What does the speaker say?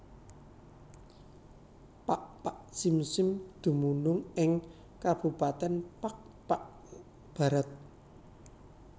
Pakpak Simsim dumunung ing kabupatèn Pakpak Bharat